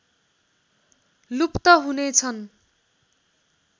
लुप्त हुने छन्